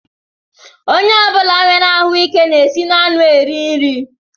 Onye ọbula nwèrè ahụike ga-esi n'ọnụ eri nri.